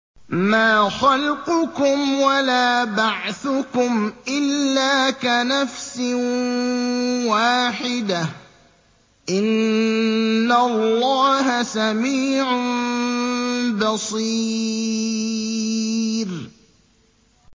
مَّا خَلْقُكُمْ وَلَا بَعْثُكُمْ إِلَّا كَنَفْسٍ وَاحِدَةٍ ۗ إِنَّ اللَّهَ سَمِيعٌ بَصِيرٌ